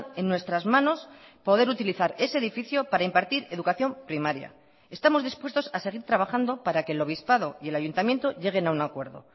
en nuestras manos poder utilizar ese edificio para impartir educación primaria estamos dispuestos a seguir trabajando para que el obispado y el ayuntamiento lleguen a un acuerdo